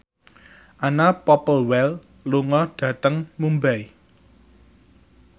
Anna Popplewell lunga dhateng Mumbai